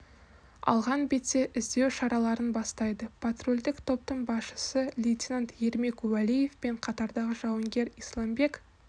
алған бетте іздеу шараларын бастайды патрульдік топтың басшысы лейтенант ермек уәлиев пен қатардағы жауынгер исламбек